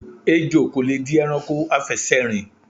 Ejò kò le di e̩ranko afè̩sè̩rìn.